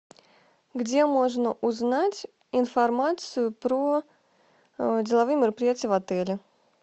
где можно узнать информацию про деловые мероприятия в отеле